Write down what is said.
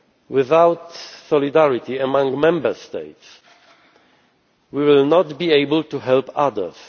Without solidarity among Member States, we will not be able to help others.